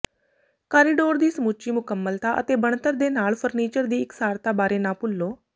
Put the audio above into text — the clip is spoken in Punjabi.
ਕਾਰੀਡੋਰ ਦੀ ਸਮੁੱਚੀ ਮੁਕੰਮਲਤਾ ਅਤੇ ਬਣਤਰ ਦੇ ਨਾਲ ਫਰਨੀਚਰ ਦੀ ਇਕਸਾਰਤਾ ਬਾਰੇ ਨਾ ਭੁੱਲੋ